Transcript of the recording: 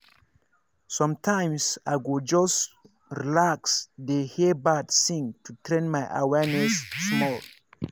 sometimes i go stop just relax dey hear birds sing to train my awareness small.